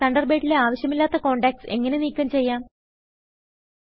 തണ്ടർബേഡിലെ ആവിശ്യമില്ലാത്ത കോണ്ടാക്റ്റ്സ് എങ്ങനെ നീക്കം ചെയ്യാം160